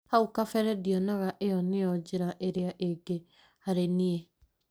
haũ kabere ndĩonaga ĩyo nĩyo njĩra ĩrĩa ĩngĩ harĩ nĩe